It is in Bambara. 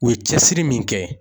U ye cɛsiri min kɛ